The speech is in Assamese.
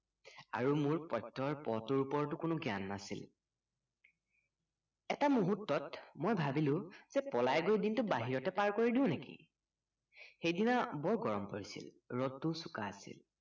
আৰু মোৰ প্ৰত্য়য়ৰ প টোৰ ওপৰতো কোনো জ্ঞান নাছিল এটা মূূহূৰ্তত মই ভাবিলো যে পলাই গৈ দিনটো বাহিৰতে পাৰ কৰি দিওঁ নেকি সেইদিনা বৰ গৰম পৰিছিল ৰদটোও চোকা আছিল